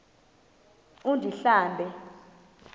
undlambe